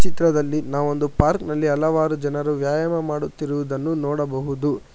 ಚಿತ್ರದಲ್ಲಿ ನಾವೊಂದು ಪಾರ್ಕ್ ನಲ್ಲಿ ಹಲವಾರು ಜನರು ವ್ಯಾಯಾಮ ಮಾಡುತ್ತಿರುವುದನ್ನು ನೋಡಬಹುದು.